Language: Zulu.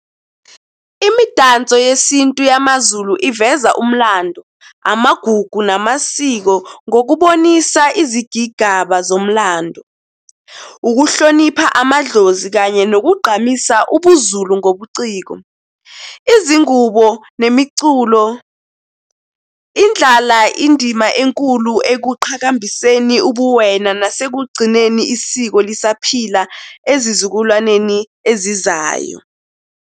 Imidanso yesintu yamaZulu iveza umlando, amagugu, namasiko ngokubonisa izigigaba zomlando. Ukuhlonipha amadlozi kanye nokugqamisa ubuZulu ngobuciko. Izingubo nemiculo idlala indima enkulu ekuqhakambiseni ubuwena nasekugcineni isiko lisaphila ezizukulwaneni ezizayo.